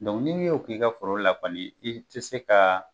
n'i ye y'o k'i ka foro la kɔni i tɛ se ka